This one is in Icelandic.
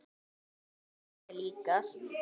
Þetta er draumi líkast.